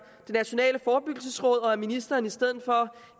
det nationale forebyggelsesråd og at ministeren i stedet for